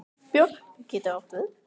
Björk getur átt við